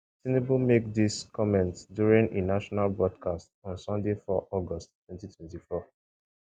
tinubu make dis comments during e nationwide broadcast on sunday 4 august 2024